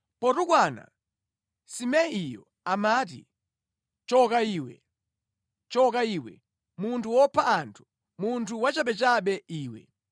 Potukwana, Simeiyo amati, “Choka iwe, choka iwe, munthu wopha anthu, munthu wachabechabe iwe!